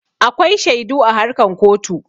Akwai shaidu a harkan kotu.